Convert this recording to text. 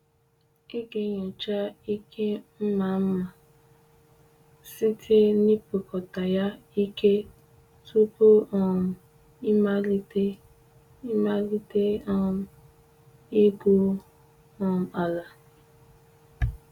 Ị ga-enyocha ike mma mma site n’ipikọta ya ike tupu um ịmalite ịmalite um igwu um ala.